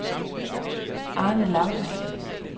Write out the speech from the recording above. Arne Laugesen